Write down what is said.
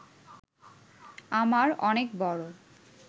আমার অনেক বড়